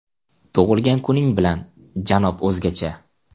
Tug‘ilgan kuning bilan, janob O‘zgacha!